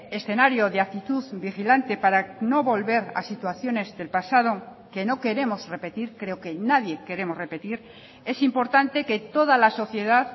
escenario de actitud vigilante para no volver a situaciones del pasado que no queremos repetir creo que nadie queremos repetir es importante que toda la sociedad